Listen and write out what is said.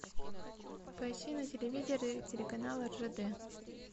поищи на телевизоре телеканал ржд